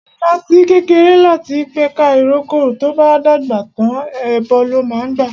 Láti kékeré lati ń p'ẹ̀ka ìrókò, tó'bá dàgbà tàń, ẹbọ ló máa gbà